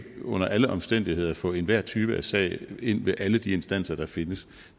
under alle omstændigheder kan få enhver type sag ind ved alle de instanser der findes